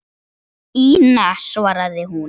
Ína, svaraði hún.